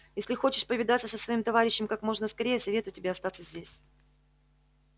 если хочешь повидаться со своим товарищем как можно скорее советую тебе остаться здесь